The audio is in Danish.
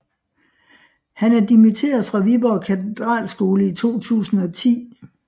Han er dimitteret fra Viborg Katedralskole i 2010